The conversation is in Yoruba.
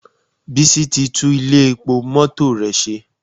Bísí ti tú Ilé epo mọ́tò rẹ̀ ṣe